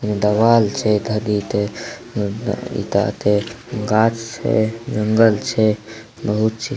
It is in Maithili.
एगो देवाल छै इ ते एते गाछ छै जंगल छै बहुत --